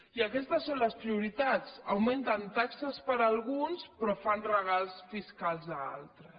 i aquestes són les prioritats augmenten taxes per a alguns però fan regals fiscals a altres